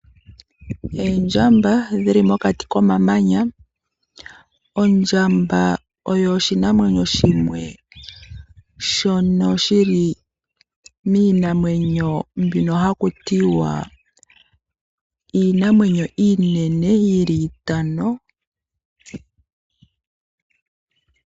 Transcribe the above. Oondjamba dhili mokati komamanya. Ondjamba oyo oshinamwenyo shimwe shono shili miinanwenyo mbyono hakutiwa iinamwenyo iinene yili itano.